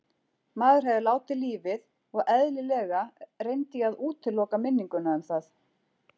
Maður hefði látið lífið og eðlilega reyndi ég að útiloka minninguna um það.